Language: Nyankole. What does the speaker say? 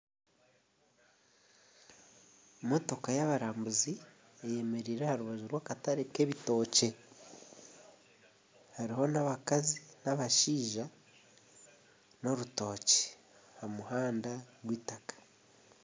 Omushaija nagyezaho okwetebeekanisiza ekiharaani eki arimu naaza kubazirisa kandi omuri eki kihaarani ashutami arimu nakirazya.